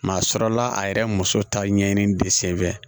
Maa sɔrɔla a yɛrɛ muso ta ɲɛɲini de sen fɛ